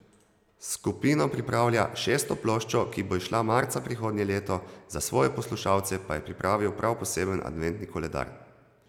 S skupino pripravlja šesto ploščo, ki bo izšla marca prihodnje leto, za svoje poslušalce pa je pripravil prav poseben adventni koledar.